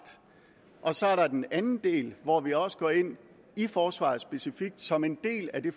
og så er der den anden del hvor vi også går ind i forsvaret specifikt som en del af det